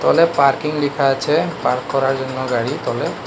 তলে পার্কিং লিখা আছে পার্ক করার জন্য গাড়ি তলে।